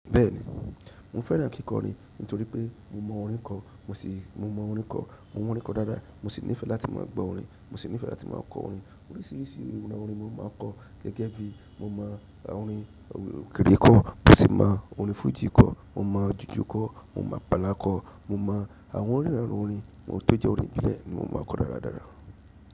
Bẹ́ẹ̀ni, mo fẹ́ràn kíkọrin nítorí pé mo mọ orin kọ. Mo sì, mo mọ orin kọ̀. Mo mọ orin kọ dáadáa. Mo sì nífẹẹ láti má a gbọ orin. Mo sì nífẹ́ láti má a kọ orin. Oríṣìíríṣìí irú àwọn orin ni mo máa n kọ gẹ́gẹ́ bí mo mọ àwọn orin giri kọ̀, mo sì mọ orin fújì kọ̀, mo mọ jùjú kọ́, mo mọ apalá kọ, mo mọ àwọn onìranu orin, amo tó jẹ́ orin ìbílẹ̀ ni mo má a n kọ dáradára.